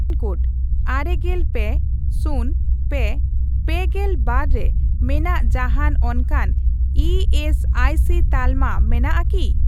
Pin code ᱟᱨᱮᱜᱮᱞ ᱯᱮ, ᱥᱩᱱ, ᱯᱮ, ᱯᱮᱜᱮᱞ ᱵᱟᱨ ᱨᱮ ᱢᱮᱱᱟᱜ ᱡᱟᱦᱟᱸᱱ ᱚᱱᱠᱟᱱ ᱤ ᱮᱥ ᱟᱭ ᱥᱤ ᱛᱟᱞᱟᱢᱟ ᱢᱮᱱᱟᱜ ᱟᱠᱤ ?